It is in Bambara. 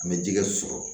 An bɛ jɛgɛ sɔrɔ